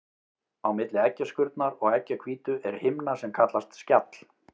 Á milli eggjaskurnar og eggjahvítu er himna sem kallast skjall.